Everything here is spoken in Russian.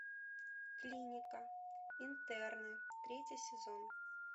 клиника интерны третий сезон